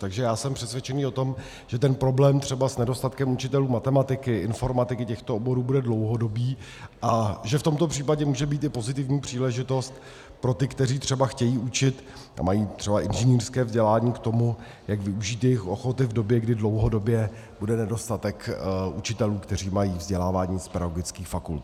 Takže já jsem přesvědčen o tom, že ten problém třeba s nedostatkem učitelů matematiky, informatiky, těchto oborů, bude dlouhodobý a že v tomto případě může být i pozitivní příležitost pro ty, kteří třeba chtějí učit a mají třeba inženýrské vzdělání, k tomu, jak využít jejich ochoty v době, kdy dlouhodobě bude nedostatek učitelů, kteří mají vzdělání z pedagogických fakult.